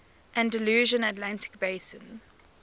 andalusian atlantic basin